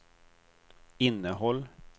innehåll